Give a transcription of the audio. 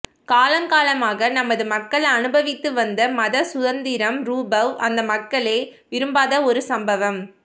காலகாலமாக நமது மக்கள் அனுபவித்து வந்த மதச்சுதந்திரம்ரூபவ் அந்த மக்களே விரும்பாத ஒருசம்பவம்